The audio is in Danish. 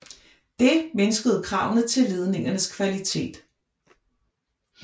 Det mindskede kravene til ledningernes kvalitet